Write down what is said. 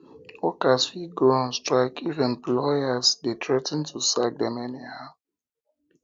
workers fit go on um strike if employers um de threa ten to sack dem anyhow